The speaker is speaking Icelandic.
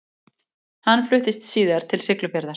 Hann fluttist síðar til Siglufjarðar.